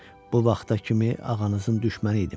Bu vaxta kimi ağanızın düşməni idim.